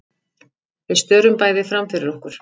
Við störum bæði framfyrir okkur.